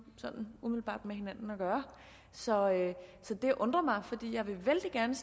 sådan umiddelbart med hinanden at gøre så så det undrer mig fordi jeg vældig gerne